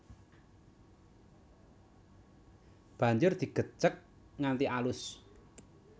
Banjur digecek nganti alus